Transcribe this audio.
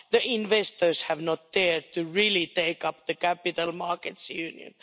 The investors have not dared to really take up the Capital Markets Union.